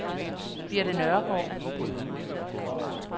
Birte Nørregaard